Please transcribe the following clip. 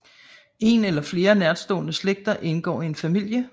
En eller flere nærstående slægter indgår i en familie